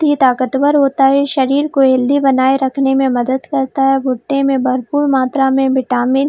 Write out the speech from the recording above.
ये ताकतवर होता है शरीर को हेलथी बनाए रखने में मदद करता है भुट्टे मे भरपूर मात्रा मे विटामिन --